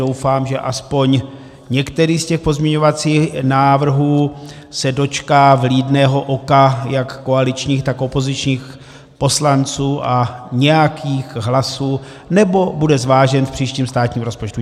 Doufám, že aspoň některý z těch pozměňovacích návrhů se dočká vlídného oka jak koaličních, tak opozičních poslanců a nějakých hlasů, nebo bude zvážen v příštím státním rozpočtu.